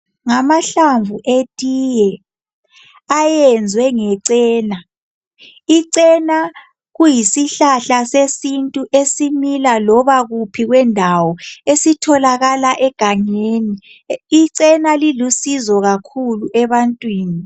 Ngamahlamvu etiye ayenzwe ngecena. Icena kuyisihlahla sesintu esimila loba kuphi kwendawo esitholakala egangeni. Icena lilusizo kakhulu ebantwini.